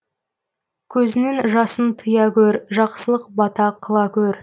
көзіңнің жасын тыя көр жақсылық бата қыла көр